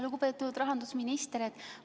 Lugupeetud rahandusminister!